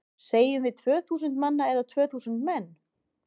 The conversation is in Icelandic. Segjum við tvö þúsund manna eða tvö þúsund menn?